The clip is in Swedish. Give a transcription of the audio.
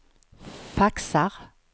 faxar